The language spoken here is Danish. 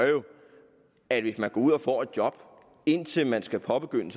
at hvis man går ud og får et job indtil man skal påbegynde